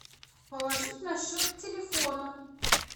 положить на счет телефона